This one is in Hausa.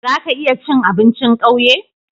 Zaka iya cin abincin kauye?